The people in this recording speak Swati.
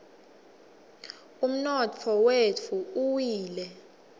umnotfo wetfu uwile